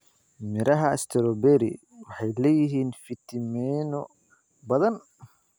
Midhaha strawberry waxay leeyihiin fiitamiinno badan.